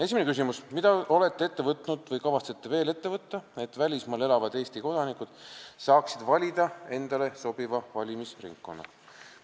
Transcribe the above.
Esimene küsimus: "Mida olete ette võtnud või kavatsete veel ette võtta, et välismaal elavad Eesti kodanikud saaksid valida endale sobiva valimisringkonna?